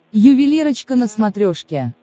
ювелирочка на смотрешке